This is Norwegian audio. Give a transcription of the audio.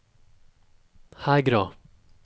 Hegra